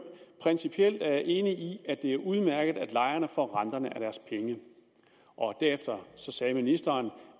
principielt er jeg enig i at det er udmærket at lejerne får renterne af deres penge og derefter sagde ministeren